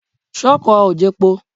Ṣọ́kọ̀ ò jepo?